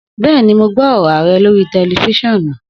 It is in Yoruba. Bẹ́ẹ̀ni, mo gbó oro Arẹ lórí tẹlifiṣionu